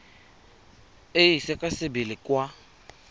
e ise ka sebele kwa